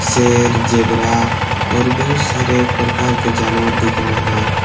शेर जेबरा और बहुत सारे प्रकार के जानवर दिख रहे हैं।